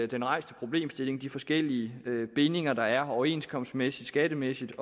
den rejste problemstilling og de forskellige bindinger der er overenskomstmæssigt skattemæssigt